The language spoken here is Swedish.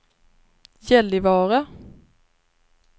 Gällivare